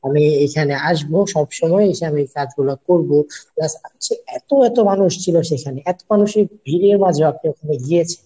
আমি এখানে আসবো সবসময় এসে আমি কাজগুলা করবো plus হচ্ছে এতো এতো মানুষ ছিল সেখানে এতো মানুষের ভিড়ে বা যখন আমি গিয়েছি